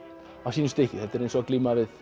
sínu stykki þetta er eins og að glíma við